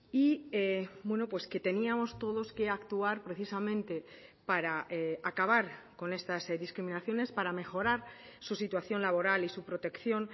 y que teníamos todos que actuar precisamente para acabar con estas discriminaciones para mejorar su situación laboral y su protección